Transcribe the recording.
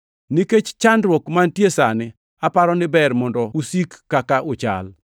Nikech chandruok mantie sani, aparo ni ber mondo usik kaka uchal.